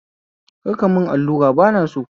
Kar ka mun allura bana so